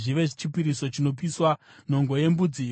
nhongo yembudzi imwe chete yechipiriso chechivi;